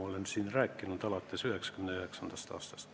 Olen seda siin rääkinud alates 1999. aastast.